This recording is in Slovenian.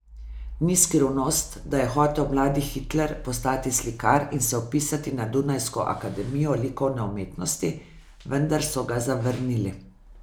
Ni skrivnost, da je hotel mladi Hitler postati slikar in se vpisati na dunajsko akademijo likovne umetnosti, vendar so ga zavrnili.